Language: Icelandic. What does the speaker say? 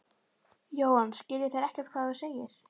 Jóhann: Skilja þeir ekkert hvað þú segir?